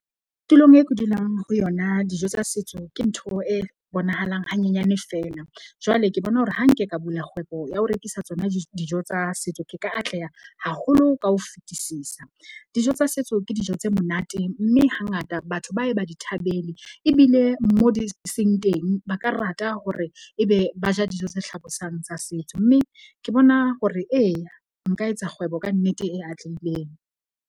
Tulong e ke dulang ho yona, dijo tsa setso ke ntho e bonahalang hanyenyane feela. Jwale ke bona hore ha nke ka bula kgwebo ya ho rekisa tsona dijo tsa setso ke ka atleha haholo ka ho fetisisa. Dijo tsa setso ke dijo tse monate. Mme hangata batho ba ye ba di thabele ebile mo di seng teng. Ba ka rata hore ebe ba ja dijo tse hlabosang tsa setso. Mme ke bona hore eya nka etsa kgwebo kannete e atlehileng.